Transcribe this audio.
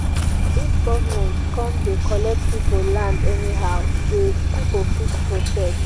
if government come dey collect pipo land anyhow de pipo fit protest